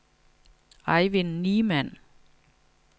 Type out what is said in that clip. Eivind Niemann